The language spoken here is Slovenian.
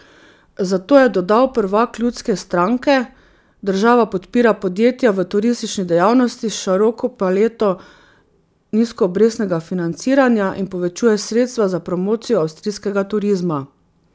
Zato, je dodal prvak ljudske stranke, država podpira podjetja v turistični dejavnosti s široko paleto nizkoobrestnega financiranja in povečuje sredstva za promocijo avstrijskega turizma.